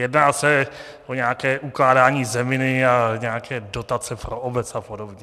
Jedná se o nějaké ukládání zeminy a nějaké dotace pro obec a podobně.